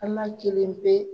An n'a kelen